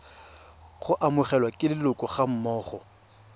go amogelwa ke leloko gammogo